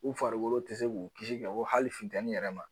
U farikolo tɛ se k'u kisi kɛ ko hali funtɛni yɛrɛ ma